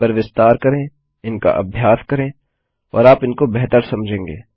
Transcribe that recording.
इस पर विस्तार करें इनका अभ्यास करें और आप इनको बेहतर समझेंगे